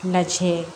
Lajɛ